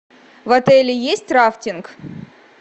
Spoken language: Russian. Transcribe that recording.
в отеле есть рафтинг